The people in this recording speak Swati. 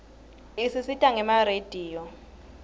isisita gema rediyo